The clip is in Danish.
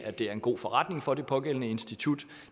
at det er en god forretning for det pågældende institut